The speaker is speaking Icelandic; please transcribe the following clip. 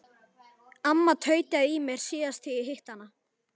Amma tautaði í mér síðast þegar ég hitti hana.